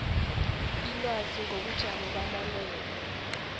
ilwazi ngobujamo bamalwelwe